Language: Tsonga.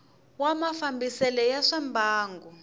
wa mafambisele ya swa mbangu